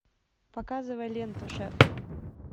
показывай ленту шеф